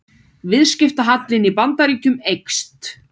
Viðskiptahallinn í Bandaríkjunum eykst